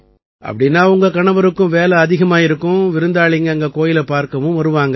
அப்படீன்னா உங்க கணவருக்கும் வேலை அதிகமாயிருக்கும் விருந்தாளிங்க அங்க கோயிலைப் பார்க்கவும் வருவாங்க